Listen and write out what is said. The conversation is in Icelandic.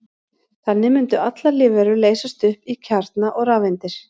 Þannig mundu allar lífverur leysast upp í kjarna og rafeindir.